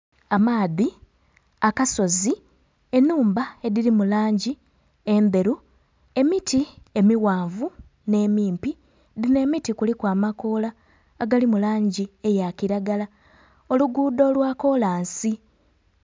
Amaadhi, akasozi, ennhumba edhiri mu langi endheru, emiti emighanvu n'emimpi, dhino emiti kuliku amakoola agali mu langi eya kilagala, oluguudo lwa kolansi.